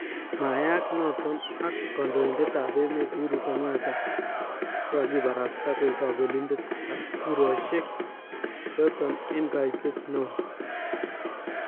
Mayaak noton ak kandoindet ab emeet Uhuru Kenyatta kokakibarasta koek kabelindetab kurooshek choton en kaiteet neon